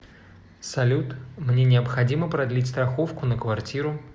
салют мне необходимо продлить страховку на квартиру